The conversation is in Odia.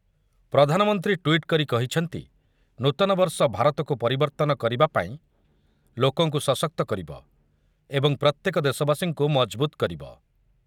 ପ୍ରଧାନମନ୍ତ୍ରୀ ଟ୍ୱିଟ୍ କରି କହିଛନ୍ତି ନୂତନବର୍ଷ ଭାରତକୁ ପରିବର୍ତ୍ତନ କରିବା ପାଇଁ ଲୋକଙ୍କୁ ସଶକ୍ତ କରିବ ଏବଂ ପ୍ରତ୍ୟେକ ଦେଶବାସୀଙ୍କୁ ମଜବୁତ କରିବ ।